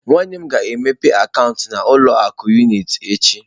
Nwannem ga-emepe akaụntụ na ụlọ akụ unịtị echi.